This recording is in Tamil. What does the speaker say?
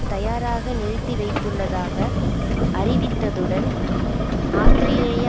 தயாராக நிறுத்தி வைத்துள்ளதாக அறிவித்ததுடன் ஆஸ்திரேலிய